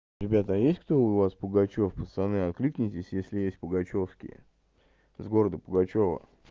ребята а есть кто у вас пугачёв пацаны откликнитесь если есть пугачёвские с города пугачёва